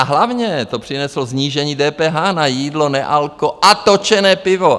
A hlavně to přineslo snížení DPH na jídlo, nealko a točené pivo.